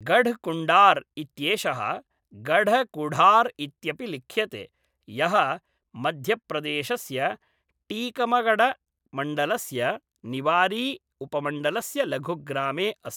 गढ़कुण्डार् इत्येषः गढकुढार् इत्यपि लिख्यते, यः मध्यप्रदेशस्य टीकमगढमण्डलस्य निवारी उपमण्डलस्य लघुग्रामे अस्ति।